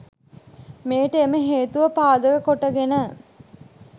මෙයට එම හේතුව පාදක කොටගෙන